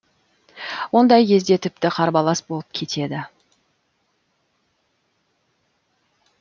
ондай кезде тіпті қарбалас болып кетеді